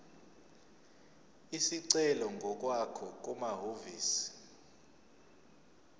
isicelo ngokwakho kumahhovisi